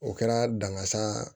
O kɛra dangasa